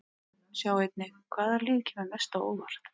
Sjá einnig: Hvaða lið kemur mest á óvart?